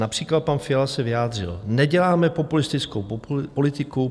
Například pan Fiala se vyjádřil: "Neděláme populistickou politiku.